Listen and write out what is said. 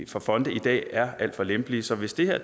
for fonde i dag er alt for lempelige så hvis det her